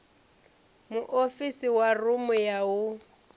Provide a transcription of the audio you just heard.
muofisi wa rumu ya u